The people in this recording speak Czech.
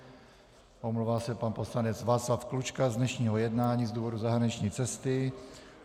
Omlouvá se pan poslanec Václav Klučka z dnešního jednání z důvodu zahraniční cesty.